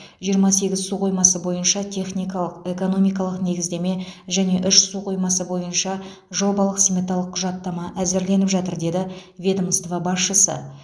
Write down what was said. жиырма сегіз су қоймасы бойынша техникалық экономикалық негіздеме және үш су қоймасы бойынша жобалық сметалық құжаттама әзірленіп жатыр деді ведомство басшысы